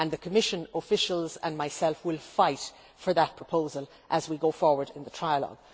The Commission's officials and myself will fight for that proposal as we go forward in the trialogue.